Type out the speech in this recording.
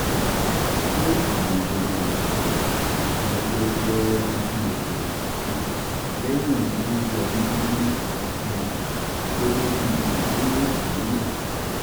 ṣé àrùn jẹjẹrẹ àrùn jẹjẹrẹ ibi oke onofun lehin imu ń yọ mí nínú um gegebi iwe eri yi?